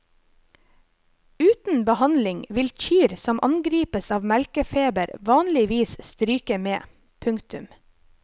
Uten behandling vil kyr som angripes av melkefeber vanligvis stryke med. punktum